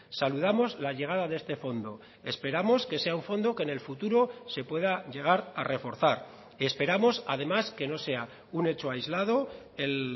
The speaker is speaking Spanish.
saludamos la llegada de este fondo esperamos que sea un fondo que en el futuro se pueda llegar a reforzar esperamos además que no sea un hecho aislado el